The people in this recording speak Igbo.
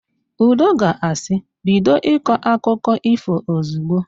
Udo ga-asị, "bido ịkọ akụkụ ífò ozigbo"!